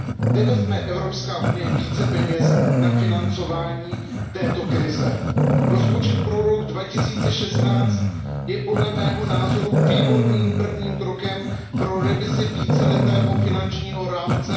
Kde vezme Evropská unie více peněz na financování této krize? Rozpočet pro rok 2016 je podle mého názoru výborným prvním krokem pro revizi víceletého finančního rámce